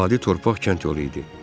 Adi torpaq kənd yolu idi.